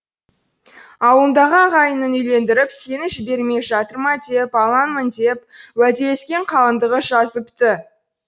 ауылыңдағы ағайының үйлендіріп сені жібермей жатыр ма деп алаңмын деп уәделескен қалыңдығы жазыпты